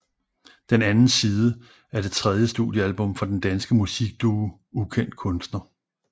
Den Anden Side er det tredje studiealbum fra den danske musikduo Ukendt Kunstner